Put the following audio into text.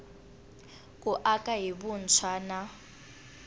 ku aka hi vuntshwa na